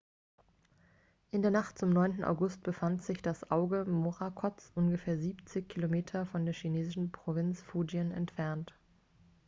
in der nacht zum 9. august befand sich das auge morakots ungefähr siebzig kilometer von der chinesischen provinz fujian entfernt